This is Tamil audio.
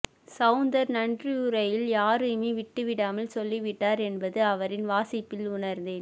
சௌந்தர் நன்றியுரையில் யாரையுமே விட்டுவிடாமல் சொல்லிவிட்டார் என்பது அவரின் வாசிப்பில் உணர்ந்தேன்